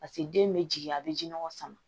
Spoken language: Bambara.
Paseke den bɛ jigin a bɛ ji nɔgɔ sama